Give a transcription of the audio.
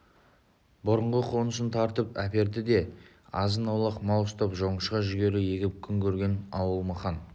бұрынғы қонысын тартып әперді де азын-аулақ мал ұстап жоңышқа жүгері егіп күн көрген ауыл мықан